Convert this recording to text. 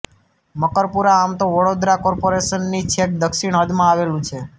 મકરપુરા આમ તો વડોદરા કોર્પોરેશનની છેક દક્ષિણ હદમાં આવેલું છે